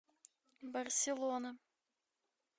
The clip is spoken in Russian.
барселона